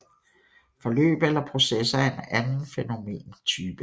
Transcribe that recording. Forløb eller processer er en anden fænomentype